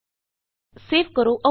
save ਤੇ click ਕਰੋ